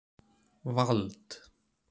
Vald